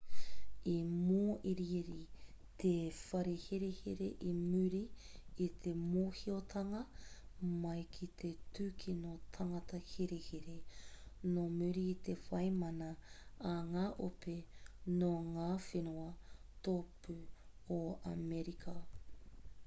i mōiriiri te whare herehere i muri i te mōhiotanga mai ki te tūkino tangata herehere nō muri i te whai mana a ngā ope nō ngā whenua tōpū o amerika